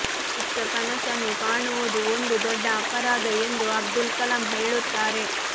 ಚಿಕ್ಕ ಕನಸನ್ನು ಕಾಣುವುದು ಒಂದು ದೊಡ್ಡ ಅಪರಾಧ ಎಂದು ಅಬ್ದುಲ್ ಕಲಾಂ ಹೇಳುತ್ತಾರೆ